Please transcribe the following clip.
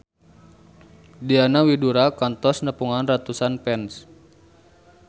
Diana Widoera kantos nepungan ratusan fans